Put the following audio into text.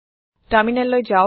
টাৰমিনেললৈ যাওক